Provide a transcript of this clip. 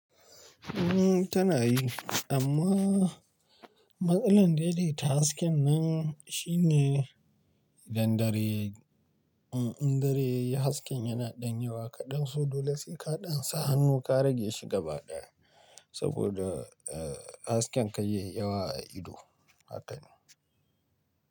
Ni tana yi amma matsalar daidaita hasken nan shine idan dare, indareyayi hasken yana ɗan yowa kaɗan so, Dole sai ka ɗan sa hannu ka rage shi gaba ɗaya saboda eh hasken kay yayi yawa a ido haka ne.